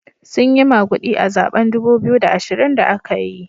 Sun yi magudi a zaben dubu biyu da ashirin da aka yi.